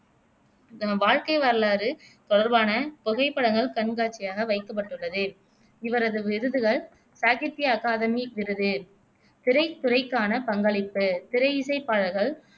வாழ்க்கை வரலாறு தொடர்பான புகைப்படங்கள் கண்காட்சியாக வைக்கப்பட்டுள்ளது இவரது விருதுகள் சாகித்ய அகாதமி விருது திரைத்துறைக்கான பங்களிப்பு திரையிசைப்பாடல்கள்